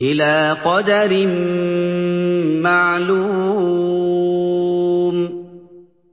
إِلَىٰ قَدَرٍ مَّعْلُومٍ